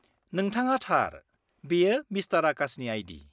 -नोंथाङा थार, बेयो मिस्टार आकाशनि आइ.डि.।